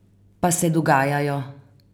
Pa se dogajajo!